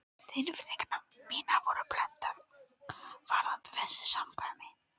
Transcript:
Tilfinningar mínar voru blendnar varðandi þessi samkvæmi.